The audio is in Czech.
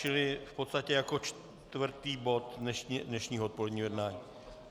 Čili v podstatě jako čtvrtý bod dnešního odpoledního jednání.